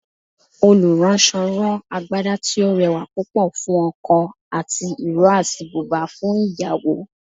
oluranso rán Àgbadá tí o rẹwà púpò fún ọkò ati iro atí bùbá fún ìyàwó.